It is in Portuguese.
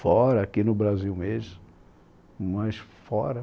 Fora, aqui no Brasil mesmo, mas fora.